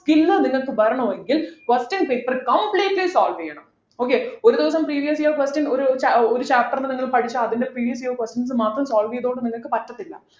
പിന്നെ നിങ്ങൾക്ക് വേണമെങ്കിൽ question paper completely solve ചെയ്യണം okay ഒരു ദിവസം previous year question ഒരു ചാ ഒരു chapter ന്നു നിങ്ങൾ പഠിച്ച അതിൻ്റെ previous year questions മാത്രം solve ചെയ്തുകൊണ്ട് നിങ്ങൾക്ക് പറ്റത്തില്ല